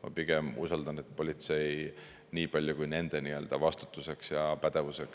Ma pigem usaldan, et politsei teeb seda kontrolli selle piires, mis nende vastutus ja pädevus on,